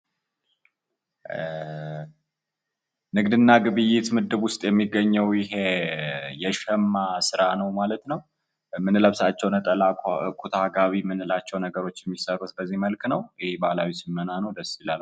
ንግድና ግብይት ምድብ ውስጥ የሚገኘው ይሄ የሸማ ስራ ነው ማለት ነው። የምንለብሳቸው ነጠላ ፣ኩታ፣ ጋቢ የምንላቸው ነገሮች የሚሰሩት በዚህ መልክ ነው። ይሄ ባህላዊ ሽመና ነው ደስ ይላል።